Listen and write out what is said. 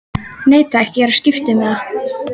Nei takk, ég er á skiptimiða.